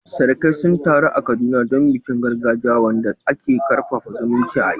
Surukai sun taru a Kaduna don bikin gargajiya, wanda ke karfafa zumuncin iyali.